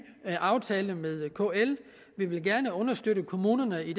aftale med kl vi vil gerne understøtte kommunerne i